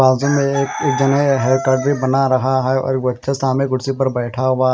बाजू में ये एक जने हेयर कट भी बना रहा हैं और बच्चा सामने कुर्सी बैठा हुआ--